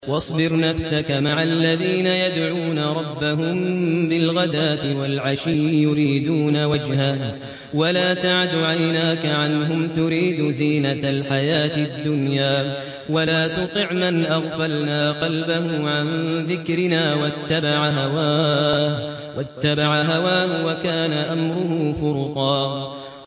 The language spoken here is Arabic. وَاصْبِرْ نَفْسَكَ مَعَ الَّذِينَ يَدْعُونَ رَبَّهُم بِالْغَدَاةِ وَالْعَشِيِّ يُرِيدُونَ وَجْهَهُ ۖ وَلَا تَعْدُ عَيْنَاكَ عَنْهُمْ تُرِيدُ زِينَةَ الْحَيَاةِ الدُّنْيَا ۖ وَلَا تُطِعْ مَنْ أَغْفَلْنَا قَلْبَهُ عَن ذِكْرِنَا وَاتَّبَعَ هَوَاهُ وَكَانَ أَمْرُهُ فُرُطًا